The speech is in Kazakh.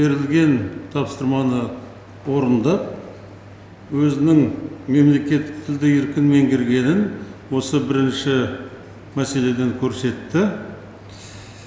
берілген тапсырманы орындап өзінің мемлекеттік тілді еркін меңгергенін осы бірінші мәселеден көрсетті